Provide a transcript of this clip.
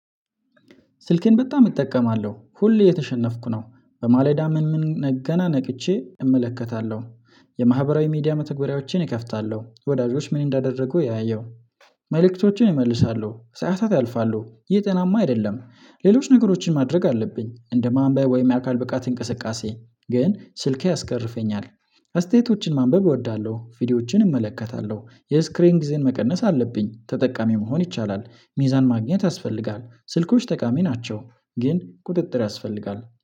ስልኬን በጣም እጠቀማለሁ ሁሌ እየተሸነፍኩ ነው በማለዳ ምን ምን ገና ነቅቼ እመለከታለሁ። የማህበራዊ ሚዲያ መተግበሪያዎችን እከፍታለሁ ወዳጆች ምን እንዳደረጉ እያየው መልእክቶችን እመልሳለው ሰዓታት ያልፋሉ ይህ ጤናማ አይደለም። ሌሎች ነገሮችን ማድረግ አለብኝ እንደ ማንባብ ወይም የአካል ብቃት እንቅስቃሴ ግን ስልኬ ያስቀርፈኛል። አስተያየቶችን ማንበብ እወዳለሁ ቪዲዮዎችን እመለከታለሁ የስክሪን ጊዜን መቀነስ አለብኝ ተጠቃሚ መሆን ይቻላል። ሚዛን ማግኘት ያስፈልጋል ስልኮች ጠቃሚ ናቸው። ግን ቁጥጥር ያስፈልጋል